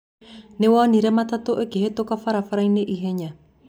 Nĩwonire matatũ ĩkĩhetũka barabarainĩ ihenya?